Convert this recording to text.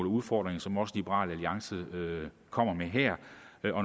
udfordringer som også liberal alliance kommer med her